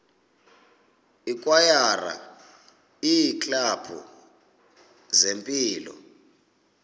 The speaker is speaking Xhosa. ikwayara iiklabhu zempilo